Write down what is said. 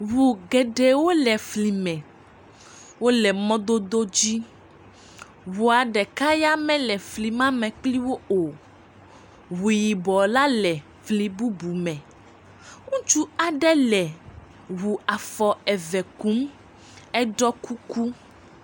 Ŋu geɖewo le fli me wole mɔdodo dzi ŋua ɖeka ya mele fli ma me kliwo o, ŋu yibɔ la le fli bubu me, ŋutsu aɖe le ŋu afɔ eve kum eɖɔ kuku.